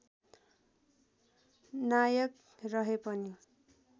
नायक रहे पनि